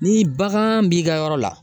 Ni bagan b'i ka yɔrɔ la